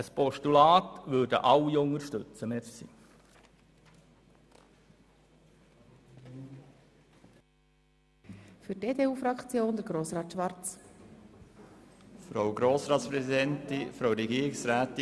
Aus diesem Grund lehnt ein grösserer Teil der BDP-Fraktion die Motion ab, wobei wir etwa hälftig geteilter Meinung sind.